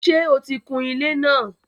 Ṣé o ti kun ilé náà?